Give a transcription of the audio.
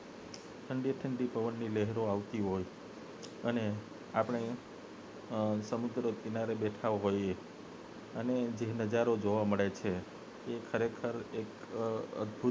ઠંડી ઠંડી પવન ની લહેરઓ આવતી હોય અને આપને સમુદ્ર કિનારે બેઠા હોય એ અને જે નજારો જોવા મળે છે એ ખરેખર એક અદભુત